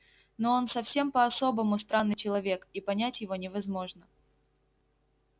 но он совсем по-особому странный человек и понять его невозможно